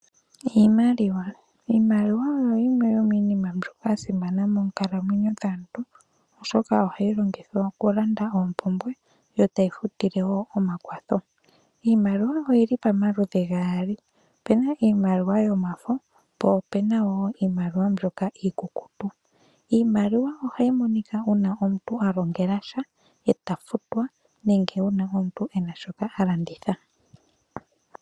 Iimaliwa oyo yimwe yominima mbyoka yasimana monkalamwenyo dhaantu oshoka ohayi longithwa okulanda ompumbwe yo tayi futile woo omakwatho. Iimaliwa oyili pomaludhi gaali opena iimaliwa yomafo po opena woo iimaliwa mbyoka iikukutu. Iimaliwa ohayi monika uuna omuntu alongela sha eta futwa nenge uuna omuntu ena shoka halanditha.